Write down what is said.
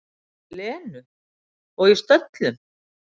Lenu, og í stöllum.